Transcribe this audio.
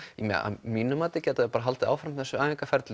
mínu mati gæti það haldið áfram þessu æfingarferli